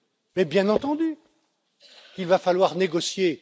Mais, bien entendu qu'il va falloir négocier!